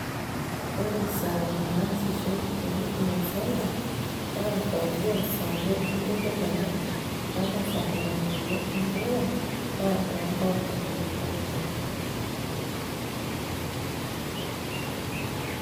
ore isaai naasishoe te huduma center naa aiteru ssare mpaka saa tomon oobo enteipa, naa too nkauntini pookin.